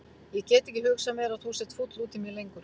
Ég get ekki hugsað mér að þú sért fúll út í mig lengur.